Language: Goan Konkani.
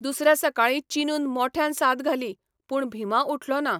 दुसऱ्या सकाळी चिनून मोठ्ठयान साद घाली, पूण भिमा उठलो ना.